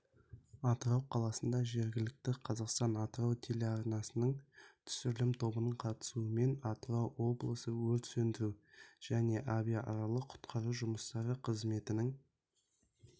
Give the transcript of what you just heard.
атырау қаласында жергілікті қазақстан-атырау телеарнасының түсірілім тобының қатысуымен атырау облысы өрт сөндіру және авариялық-құтқару жұмыстары қызметінің